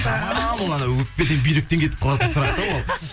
жаман ол анау өкпеден бүйректен кетіп қалатын сұрақ та ол